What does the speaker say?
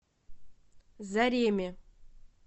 зареме